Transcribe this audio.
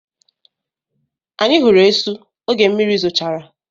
Anyị hụrụ esu oge mmiri zochara.